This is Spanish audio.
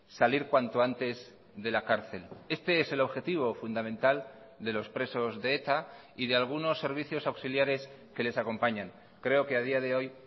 salir cuanto antes de la cárcel este es el objetivo fundamental de los presos de eta y de algunos servicios auxiliares que les acompañan creo que a día de hoy